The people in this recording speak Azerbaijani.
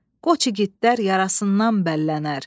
Qoç igidlər yarasından bəllənər,